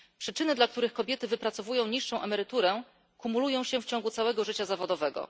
Przyczyny, dla których kobiety wypracowują niższą emeryturę kumulują się w ciągu całego życia zawodowego.